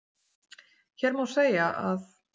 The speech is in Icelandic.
Hér má segja að